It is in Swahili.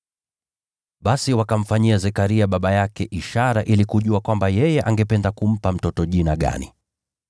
Basi wakamfanyia Zekaria baba yake ishara ili kujua kwamba yeye angependa kumpa mtoto jina gani.